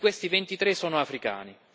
Di questi, 23 sono africani.